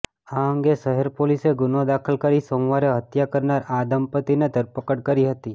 આ અંગે શહેર પોલીસે ગુનો દાખલ કરી સોમવારે હત્યા કરનાર આ દંપતીની ધરપકડ કરી હતી